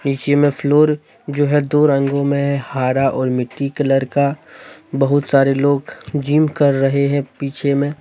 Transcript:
नीचे में फ्लोर जो हैं दो रंगों में हैं हरा और मिट्टी कलर का बहुत सारे लोग जिम कर रहे है पीछे में।